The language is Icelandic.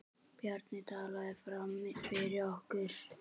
Bjarni taldi fram fyrir okkur.